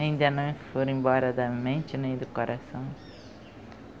Ainda não foram embora da mente nem do coração.